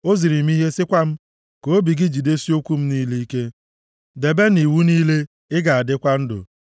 ọ ziri m ihe, sịkwa m, “Ka obi gị jidesie okwu m niile ike, debe nʼiwu niile, ị ga-adịkwa ndụ.